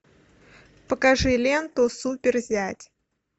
покажи ленту супер зять